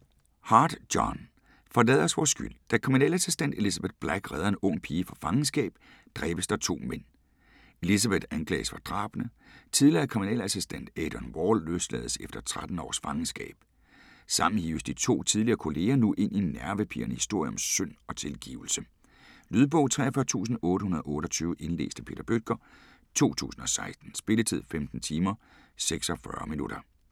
Hart, John: Forlad os vor skyld Da kriminalassistent Elizabeth Black redder en ung pige fra fangenskab, dræbes der to mænd. Elizabeth anklages for drabene. Tidligere kriminalassistent Adrian Wall løslades efter 13 års fangenskab. Sammen hives de to tidligere kolleger nu ind i en nervepirrende historie om synd og tilgivelse. Lydbog 43828 Indlæst af Peter Bøttger, 2016. Spilletid: 15 timer, 46 minutter.